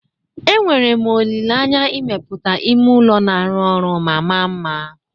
Enwere m olile anya imepụta ime ụlọ na-arụ ọrụ ma mara mma.